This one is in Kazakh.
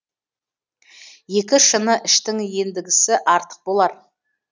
екі шыны іштің ендігісі артық болар